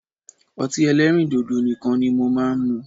Ọtí ẹlẹ́rìndòdò nìkan ni mo máa ń mu